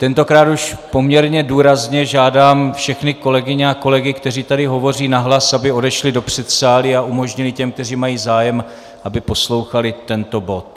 Tentokrát už poměrně důrazně žádám všechny kolegyně a kolegy, kteří tady hovoří nahlas, aby odešli do předsálí a umožnili těm, kteří mají zájem, aby poslouchali tento bod.